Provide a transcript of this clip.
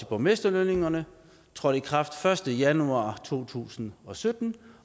borgmesterlønningerne trådte i kraft den første januar to tusind og sytten